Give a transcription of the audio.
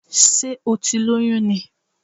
Sé o ti lóyún ni?